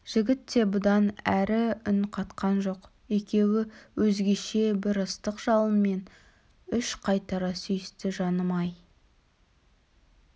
жігіт те бұдан әрі үн қатқан жоқ екеуі өзгеше бір ыстық жалынмен үш қайтара сүйісті жаным-ай